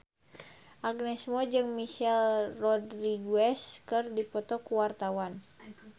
Agnes Mo jeung Michelle Rodriguez keur dipoto ku wartawan